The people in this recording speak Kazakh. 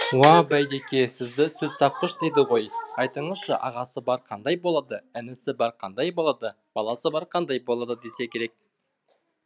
уа байдеке сізді сөзтапқыш дейді ғой айтыңызшы ағасы бар қандай болады інісі бар қандай болады баласы бар қандай болады десе керек